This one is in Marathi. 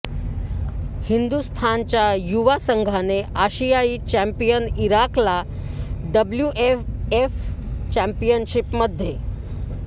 हिंदुस्थानच्या युवा संघाने आशियाई चॅम्पियन इराकला डब्ल्यूएएफ चॅम्पियनशिपमध्ये